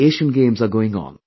The Asian Games are going on